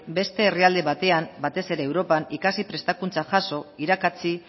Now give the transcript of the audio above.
beste herrialde batean batez ere europan ikasi prestakuntza jaso irakatsi